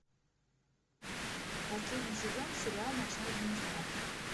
последний сезон сериала ночной администратор